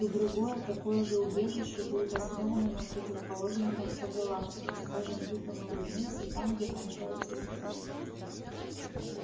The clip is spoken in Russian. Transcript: и другое такое же убежище будет основано на противоположном конце галактики скажем тут он улыбнулся там где кончаются звезды